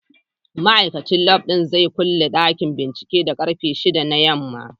Ma'aikacin lab zai kulle dakin binciken da karfe 6 na yamma.